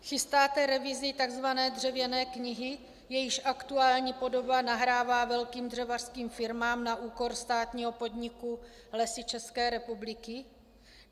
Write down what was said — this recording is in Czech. Chystáte revizi tzv. dřevěné knihy, jejíž aktuální podoba nahrává velkým dřevařským firmám na úkor státního podniku Lesy České republiky?